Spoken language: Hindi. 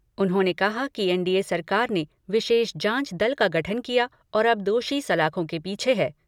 उन्होंने कहा कि एनडीए सरकार ने विशेष जाँच दल का गठन किया और अब दोषी सलाखों के पीछे हैं।